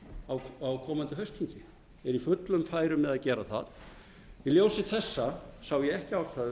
það á komandi haustþingi eru í fullum færum með að gera það í ljósi þessa sá ég ekki ástæðu